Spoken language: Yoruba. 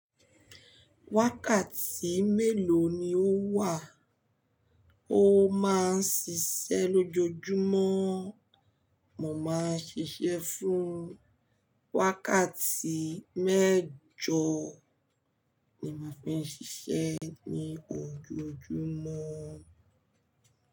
Wákàtí mélòó ni ó wà? Ó máa ń ṣiṣẹ́ lójoojúmọ́. Mo máa ń ṣiṣẹ́ fún wákàtí mẹ́jo ni mò ń fi ṣiṣẹ́ ní ojoojúmọ́.